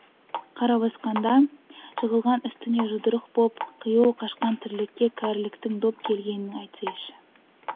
қара басқанда жығылған үстіне жұдырық боп қиюы қашқан тірлікке кәріліктің дөп келгенін айтсайшы